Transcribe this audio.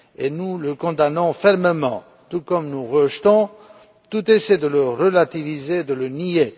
Nous le condamnons fermement, tout comme nous rejetons toute velléité de le relativiser ou de le nier.